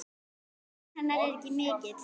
Missir hennar er mikill.